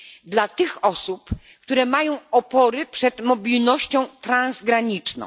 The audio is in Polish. dla tych osób, które mają opory przed mobilnością transgraniczną.